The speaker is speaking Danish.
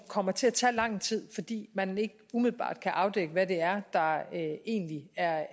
kommer til at tage lang tid fordi man ikke umiddelbart kan afdække hvad det er der egentlig er